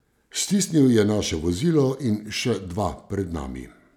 Stisnil je naše vozilo in še dva pred nami.